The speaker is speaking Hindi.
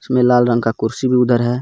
इसमें लाल रंग का कुर्सी भी उधर है.